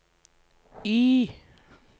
Y